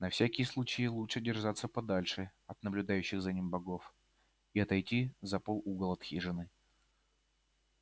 на всякий случай лучше держаться подальше от наблюдающих за ним богов и отойти за пол угол хижины